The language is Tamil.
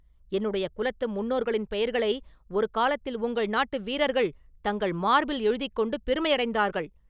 என்னுடைய குலத்து முன்னோர்களின் பெயர்களை ஒரு காலத்தில் உங்கள் நாட்டு வீரர்கள் தங்கள் மார்பில் எழுதிக் கொண்டு பெருமையடைந்தார்கள்!